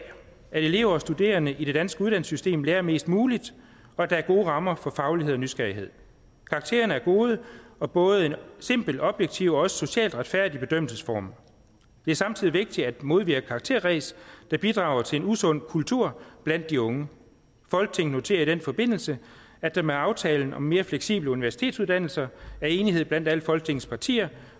at elever og studerende i det danske uddannelsessystem lærer mest muligt og at der er gode rammer for faglighed og nysgerrighed karakterer er gode og både en simpel objektiv og også socialt retfærdig bedømmelsesform det er samtidig vigtigt at modvirke karakterræs der bidrager til en usund kultur blandt de unge folketinget noterer i den forbindelse at der med aftalen om mere fleksible universitetsuddannelser er enighed blandt alle folketingets partier